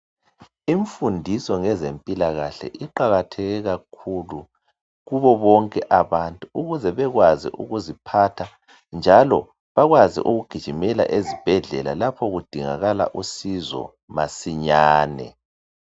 Imfundisi ngezempilakahle iqakatheke kakhulu kubo bonke abantu ukuze bekwazi ukuziphatha njalo bakwazi ukugijimela ezibhedlela lapha kudingakala usizo masinyane.